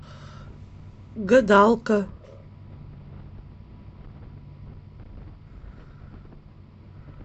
гадалка